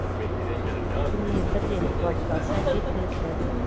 күніне бір рет қуатталса жеткілікті